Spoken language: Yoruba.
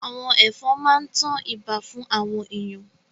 Àwọn ẹ̀fọn máa ń tan ibà fún àwọn èèyàn